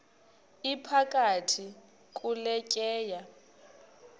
iphakathi kule tyeya